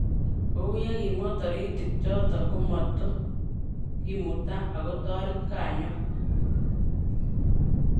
Kouyo kimwa toritik choti, kimuta akotoret kanyo